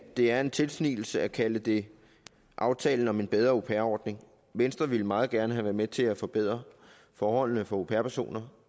det er en tilsnigelse at kalde det aftalen om en bedre au pair ordning venstre ville meget gerne have været med til at forbedre forholdene for au pair personer